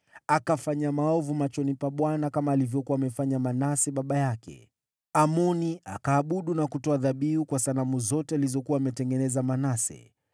Akatenda maovu machoni mwa Bwana, kama baba yake Manase alivyofanya. Amoni akaabudu na kutoa dhabihu kwa sanamu zote alizokuwa ametengeneza Manase.